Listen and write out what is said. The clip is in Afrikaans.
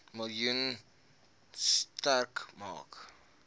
miljoen sterk maak